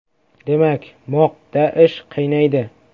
Demak, MOQda ish qaynaydi.